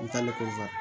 N talen kɔfɛ